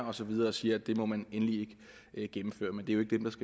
og så videre og siger at det må man endelig ikke gennemføre men det